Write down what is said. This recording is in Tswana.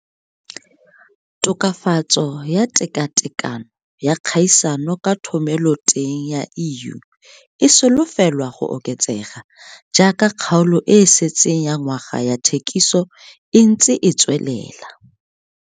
Tokafatso ya tekatekano ya kgaisano ka thomeloteng ya EU e solofelwa go oketsega jaaka kgaolo e e setseng ya ngwaga ya thekiso e ntse e tswelela.